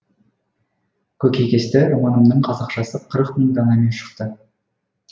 көкейкесті романымның қазақшасы қырық мың данамен шықты